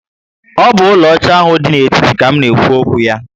O bu úlò óchá ahụ dị n'etiti ka m na ekwu okwu ya